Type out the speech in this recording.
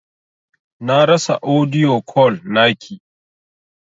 Na rasa audio call naki.